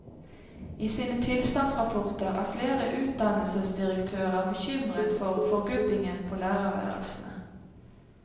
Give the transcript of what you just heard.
I sine tilstandsrapporter er flere utdannelsesdirektører bekymret for forgubbingen på lærerværelsene.